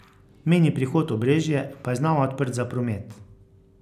Mejni prehod Obrežje pa je znova odprt za promet.